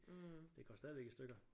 Det går stadigvæk i stykker